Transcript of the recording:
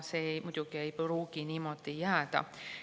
See muidugi ei pruugi niimoodi jääda.